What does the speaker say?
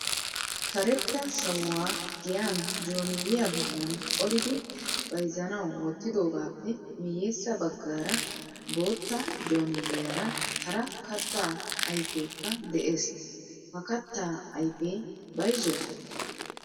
Karetta sawuwaa giyan jooniya bollan qolidi bayzzanawu wottidoogappe miyyessa baggaara bootta jooniyaara hara katta ayfekka de'ees. Ha katta ayfe bayzzo?